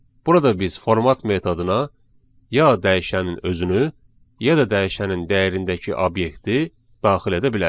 Burada biz format metoduna ya dəyişənin özünü, ya da dəyişənin dəyərindəki obyekti daxil edə bilərik.